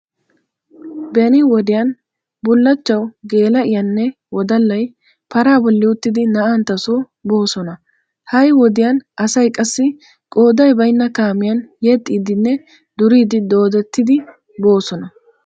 Beni wodiyan bullachchawu geela"iyaanne wodallay paraa bolli uttidi na"anttasoo boosona. Ha"i wodiya asay qassi qooday baynna kaamiyan yexxiiddine duriiddi doodettidi boosona.